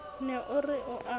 ne o re o a